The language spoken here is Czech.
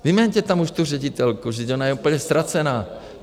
Vyměňte tam už tu ředitelku, vždyť ona je úplně ztracená.